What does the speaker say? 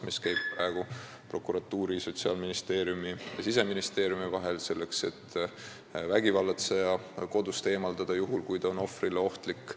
Seal käib praegu koostöö prokuratuuri, Sotsiaalministeeriumi ja Siseministeeriumi vahel, selleks et vägivallatseja kodust eemaldada, juhul kui ta on ohvrile ohtlik.